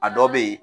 A dɔ bɛ yen